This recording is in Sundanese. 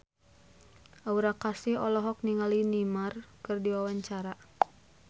Aura Kasih olohok ningali Neymar keur diwawancara